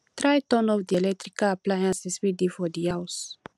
try turn off di electrical appliances wey de for di house